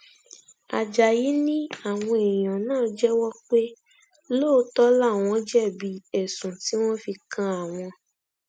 ajáyí ni àwọn èèyàn náà jẹwọ pé lóòótọ làwọn jẹbi ẹsùn tí wọn fi kan àwọn